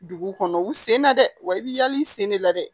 Dugu kɔnɔ u sen na dɛ wa i bi yali sen de la dɛ